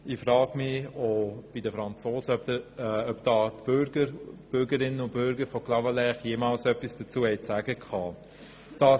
Ich frage mich, ob die Bürgerinnen und Bürger von Clavaleyres auch damals bei den Franzosen etwas dazu sagen konnten.